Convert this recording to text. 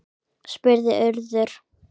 spurði Urður.